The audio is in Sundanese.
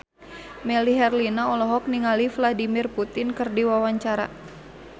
Melly Herlina olohok ningali Vladimir Putin keur diwawancara